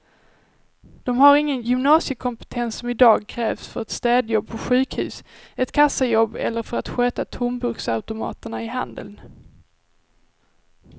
De har ingen gymnasiekompetens som i dag krävs för ett städjobb på sjukhus, ett kassajobb eller för att sköta tomburksautomaterna i handeln.